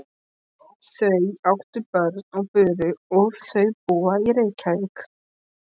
Þau áttu börn og buru og þau búa í Reykjavík.